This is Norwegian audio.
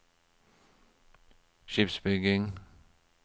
skipsbygging